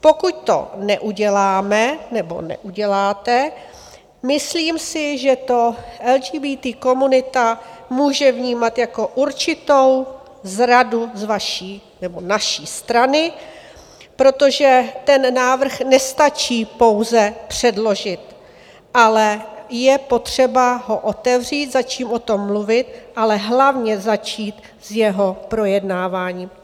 Pokud to neuděláme nebo neuděláte, myslím si, že to LGBT komunita může vnímat jako určitou zradu z vaší nebo naší strany, protože ten návrh nestačí pouze předložit, ale je potřeba ho otevřít, začít o tom mluvit, ale hlavně začít s jeho projednáváním.